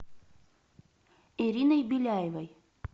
ириной беляевой